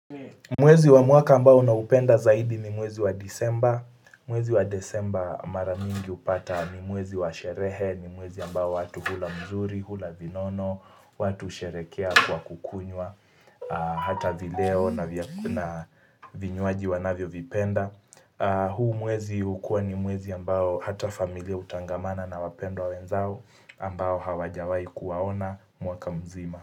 Mwezi wa mwaka ambao naupenda zaidi ni mwezi wa Desemba mwezi wa Desemba maramingi hupata ni mwezi wa sherehe ni mwezi ambao watu hula mzuri, hula vinono watu husherekea kwa kukunywa Hata video na vyakula vinywaji wanavyo vipenda huu mwezi hukuwa ni mwezi ambao hata familia hutangamana na wapendwa wenzao ambao hawajawai kuwaona mwaka mzima.